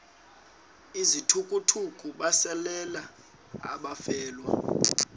izithukuthuku besalela abafelwa